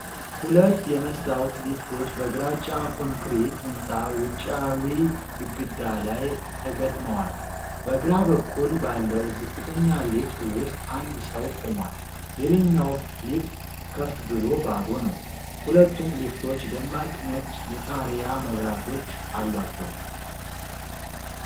ሁለት የመስታወት ሊፍቶች በግራጫ ኮንክሪት ህንፃ ውጫዊ ግድግዳ ላይ ተገጥመዋል። በግራ በኩል ባለው ዝቅተኛ ሊፍት ውስጥ አንድ ሰው ቆሟል። ሌላኛው ሊፍት ከፍ ብሎ ባዶ ነው። ሁለቱም ሊፍቶች ደማቅ ነጭ የጣሪያ መብራቶች አሏቸው።